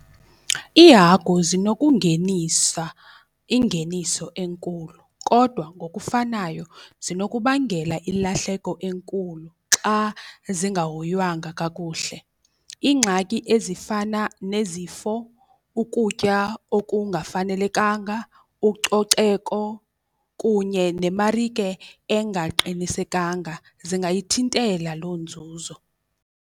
Iihagu zinokungenisa ingeniso enkulu kodwa ngokufanayo zinokubangela ilahleko enkulu xa zingahoywanga kakuhle. Iingxaki ezifana nezifo ukutya okungafanelekanga, ucoceko kunye nemarike engaqinisekanga zingayithintela loo nzuzo.